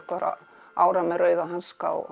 ára með rauða hanska og